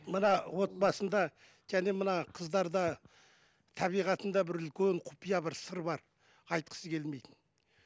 мына отбасында және мына қыздарда табиғатында бір үлкен құпия бір сыр бар айтқысы келмейтін